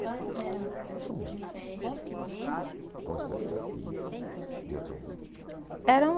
Quais eram, assim, o tipo de festa que tinha, que vocês viam na sua adolescência lá na sua cidade? Eram